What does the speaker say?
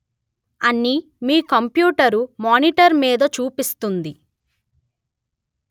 అని మీ computer monitor మీద చూపిస్తుంది